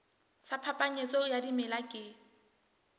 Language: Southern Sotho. sa phapanyetso ya dimela ke